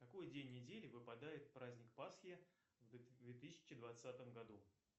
какой день недели выпадает праздник пасхи в две тысячи двадцатом году